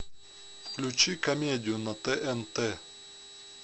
включи комедию на тнт